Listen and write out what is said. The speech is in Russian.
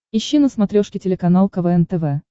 ищи на смотрешке телеканал квн тв